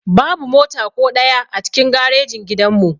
Babu mota ko ɗaya a cikin garejin gidan mu